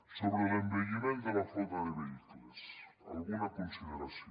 sobre l’envelliment de la flota de vehicles alguna consideració